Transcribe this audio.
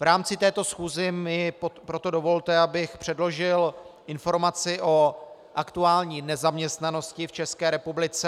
V rámci této schůze mi proto dovolte, abych předložil informaci o aktuální nezaměstnanosti v České republice.